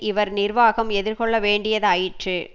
இவர் நிர்வாகம் எதிர் கொள்ள வேண்டியதாயிற்று